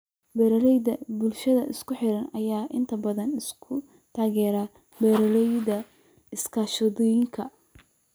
Beeralayda bulshooyinka isku xidhan ayaa inta badan isku taageera beeralayda iskaashatooyinka.